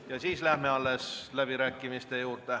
Ja siis läheme läbirääkimiste juurde.